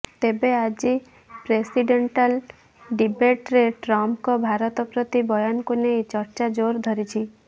ତେବେ ଆଜି ପ୍ରେସିଡେଣ୍ଟାଲ୍ ଡିବେଟ୍ରେ ଟ୍ରମ୍ପଙ୍କ ଭାରତ ପ୍ରତି ବୟାନକୁ ନେଇ ଚର୍ଚ୍ଚା ଜୋର ଧରିଛି